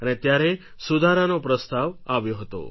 અને ત્યારે સુધારાનો પ્રસ્તાવ આવ્યો હતો